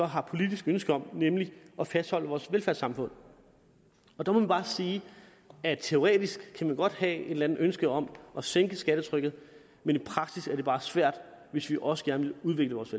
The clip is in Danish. har politisk ønske om nemlig at fastholde vores velfærdssamfund der må man bare sige at teoretisk kan man godt have et eller andet ønske om at sænke skattetrykket men i praksis er det bare svært hvis vi også gerne vil udvikle vores